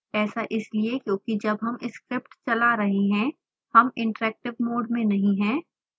ऐसा इसलिए क्योंकि जब हम स्क्रिप्ट चला रहे हैं हम इंटरैक्टिव मोड में नहीं हैं